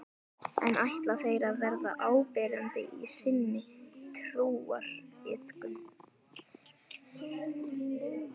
En ætla þeir að vera áberandi í sinni trúariðkun?